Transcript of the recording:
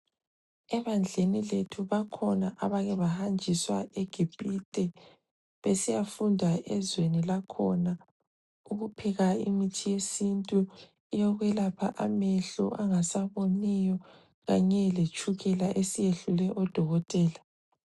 Ebandleni lethu bakhona abake bahanjiswa eGipite besiya funda ezweni lakhona, ukupheka imithi yesintu eyokwelapha amehlo angasaboniyo kanye letshukela esiyehlule odokotela.